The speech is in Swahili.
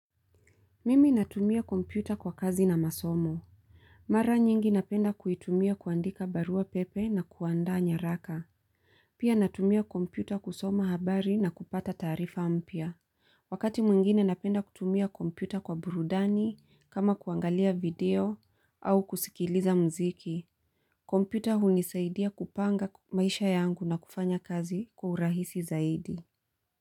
Mimi natumia kompyuta kwa kazi na masomo. Mara nyingi napenda kuitumia kuandika barua pepe na kuandaa nyaraka. Pia natumia kompyuta kusoma habari na kupata taarifa mpya. Wakati mwingine napenda kutumia kompyuta kwa burudani kama kuangalia video au kusikiliza muziki. Kompyuta hunisaidia kupanga maisha yangu na kufanya kazi kwa urahisi zaidi.